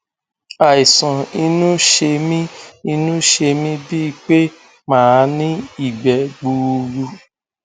àìsàn inú ṣe mí inú ṣe mí bíi pé màá ní ìgbẹ gbuuru